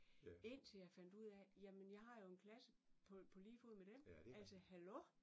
Indtil jeg fandt ud af jamen jeg har jo en klasse på på lige fod med dem altså hallo